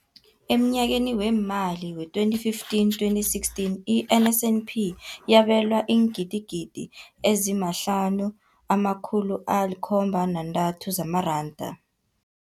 Emnyakeni weemali we-2015, 2016, i-NSNP yabelwa iingidigidi ezi-5 703 zamaranda.